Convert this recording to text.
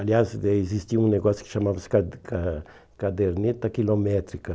Aliás, daí existia um negócio que chamava-se ca ca caderneta quilométrica.